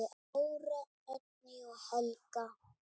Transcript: Dóra, Oddný og Helga.